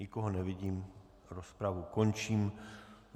Nikoho nevidím, rozpravu končím.